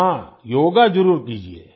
हाँ योगा जरुर कीजिये